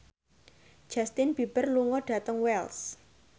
Justin Beiber lunga dhateng Wells